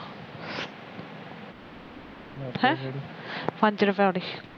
ਹੈ ਪੰਜ ਰੁਪਏ ਵਾਲੀ